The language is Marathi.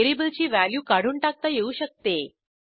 व्हेरिएबलची व्हॅल्यू काढून टाकता येऊ शकते